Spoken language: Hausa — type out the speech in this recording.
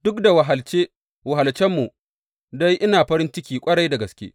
Duk da wahalce wahalcenmu dai ina farin ciki ƙwarai da gaske.